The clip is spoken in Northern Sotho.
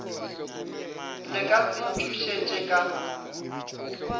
le ka se ntšhošetše ka